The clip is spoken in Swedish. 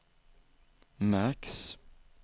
märks